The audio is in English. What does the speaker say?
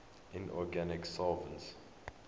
inorganic solvents